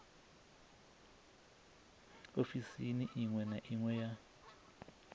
ofisini iṅwe na iṅwe ya